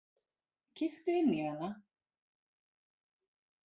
Kíktu inn í hana